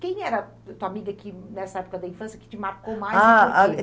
Quem era a tua amiga nessa época da infância que te marcou mais? Ah ,a